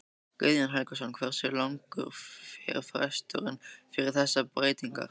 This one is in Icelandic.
Guðjón Helgason: Hversu langur var fresturinn fyrir þessar breytingar?